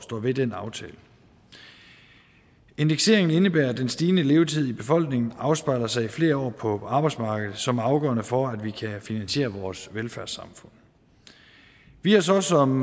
ved den aftale indekseringen indebærer at den stigende levetid i befolkningen afspejler sig i flere år på arbejdsmarkedet som afgørende for at vi kan finansiere vores velfærdssamfund vi har så som